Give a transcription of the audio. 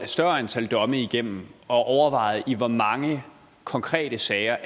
større antal domme igennem og overvejet i hvor mange konkrete sager